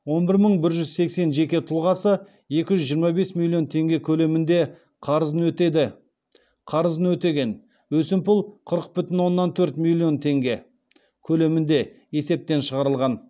он бір мың бір жүз сексен жеке тұлғасы екі жүз жиырма бес миллион теңге көлемінде қарызын өтеген өсімпұл қырық бүтін оннан төрт миллион теңге көлемінде есептен шығарылған